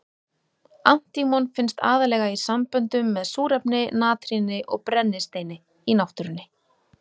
Antímon finnst aðallega í samböndum með súrefni, natríni og brennisteini í náttúrunni.